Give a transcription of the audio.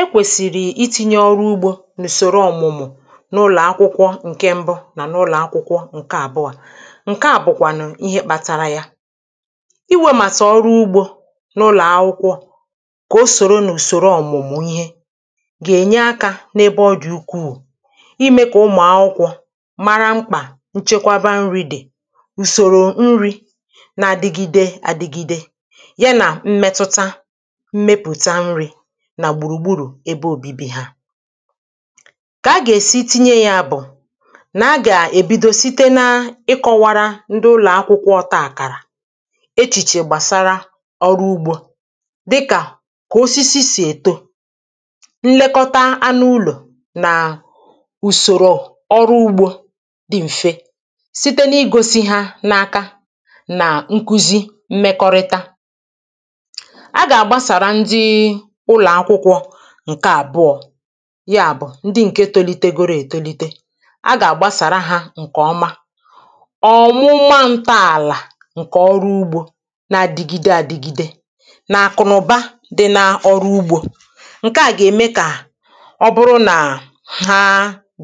e kwèsìrì iti̇nyė ọrụ ugbȯ n’ùsòro ọ̀mụ̀mụ̀ n’ụlọ̀akwụkwọ nkè mbụ nà n’ụlọ̀akwụkwọ ǹke àbụọ̇ ǹke à bụ̀kwànụ̀ ihe kpȧtȧrȧ ya iwė màtà ọrụ ugbȯ n’ụlọ̀ akwụkwọ kà o sòro n’ùsòro ọ̀mụ̀mụ̀ ihe gà-ènye akȧ n’ebe ọ dị̀ ukwuu i mee kà ụmụ̀ akwụkwọ mara mkpà nchekwaba nrìdè ùsòrò nrì na-adigide adigide nà gbùrùgburù ebe òbibi ha kà a gà-èsi tinye ya bụ̀ nà a gà-èbido site na-ịkọ̇wara ndị ụlọ̀akwụkwọ ọ̇ta àkàrà echìchè gbàsara ọrụ ugbȯ dịkà kà osisi sì èto nlekọta anụ ụlọ̀ nà ùsòrò ọrụ ugbȯ dị m̀fe site na-igosi ha n’aka nà nkuzi mmekọrịta ǹke àbụọ̇ ya bụ̀ ndị ǹke tolite goro ètolite a gà-àgbasàra hȧ ǹkè ọma ọ̀mụma ǹta àlà ǹkè ọrụ ugbȯ n’adìgide àdìgide nà-àkụ̀nụ̀ba dị n’ọrụ ugbȯ ǹke à gà-ème kà ọ bụrụ nà ha